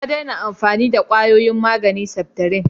Ya daina amfani da kwayoyin maganin septrin.